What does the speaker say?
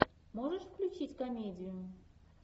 можешь включить комедию